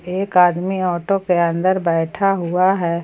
एक आदमी ऑटो के अंदर बैठा हुआ है।